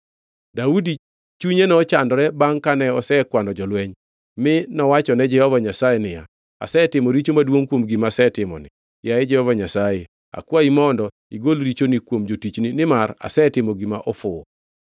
Daudi chunye nochandore bangʼ kane osekwano jolweny, mi nowachone Jehova Nyasaye niya, “Asetimo richo maduongʼ kuom gima asetimoni. Yaye Jehova Nyasaye, akwayi mondo igol richoni kuom jatichni, nimar asetimo gima ofuwo.”